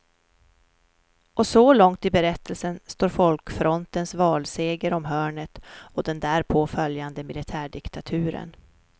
Och så långt i berättelsen står folkfrontens valseger om hörnet och den därpå föjande militärdiktaturen.